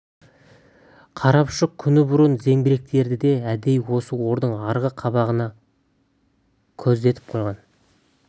қарапұшық күні бұрын зеңбіректерді де әдейі осы ордың арғы қабағына көздетіп қойған